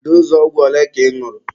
Doozụ ogwụ ole ka ị ñụrụ?